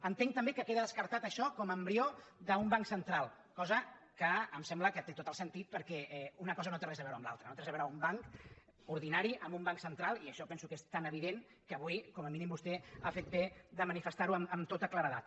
entenc també que queda descartat això com a embrió d’un banc central cosa que em sembla que té tot el sentit perquè una cosa no té res a veure amb l’altra no té res a veure un banc ordinari amb un banc central i això penso que és tan evident que avui com a mínim vostè ha fet bé de manifestar ho amb tota claredat